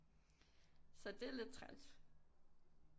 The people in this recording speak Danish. Så det er lidt træls